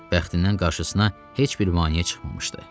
Bəxtindən qarşısına heç bir maneə çıxmamışdı.